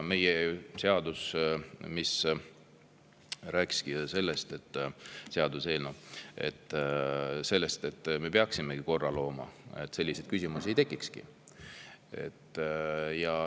Meie seaduseelnõu rääkis sellest, et me peaksime korra looma, et selliseid küsimusi ei tekiks.